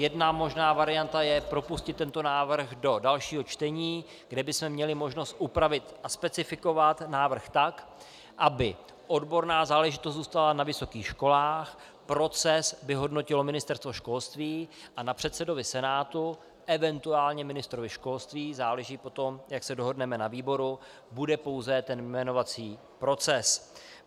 Jedna možná varianta je propustit tento návrh do dalšího čtení, kde bychom měli možnost upravit a specifikovat návrh tak, aby odborná záležitost zůstala na vysokých školách, proces by hodnotilo Ministerstvo školství a na předsedovi Senátu, eventuálně ministrovi školství - záleží potom, jak se dohodneme na výboru - bude pouze ten jmenovací proces.